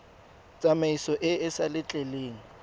tsamaiso e e sa letleleleng